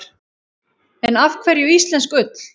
En af hverju íslensk ull?